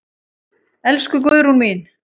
Elsku Guðrún mín.